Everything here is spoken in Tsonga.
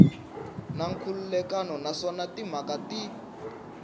na nkhulukelano naswona timhaka ti